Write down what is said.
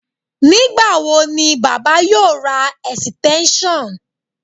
Nígbà wo ni baba yóò ra ẹ̀sìtẹ́ńṣọ̀n